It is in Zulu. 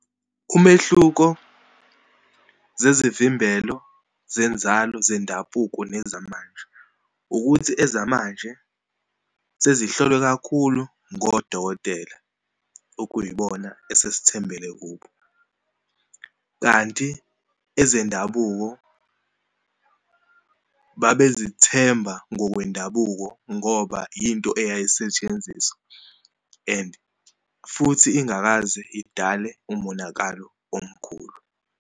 Umehluko zezivimbelo zenzalo zendabuko nezamanje, ukuthi ezamanje sezihlolwe kakhulu ngodokotela, okuyibona esesithembele kubo. Kanti ezendabuko babezithemba ngokwendabuko ngoba yinto eyayisetshenziswa and futhi ingakaze idale umonakalo omkhulu.